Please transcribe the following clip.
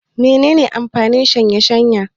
Mene ne amfanin shaye-shaye?